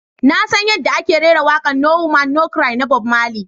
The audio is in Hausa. "Na san yadda ake rera waƙa"No woman no cry" na Bob marley.